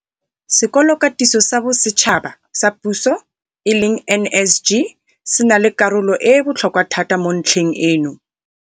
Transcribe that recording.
Sekolokatiso sa Bosetšhaba sa Puso, NSG, se na le karolo e e botlhokwa thata mo ntlheng eno.